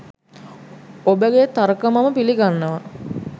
ඔබගේ තර්ක මම පිළිගන්නවා.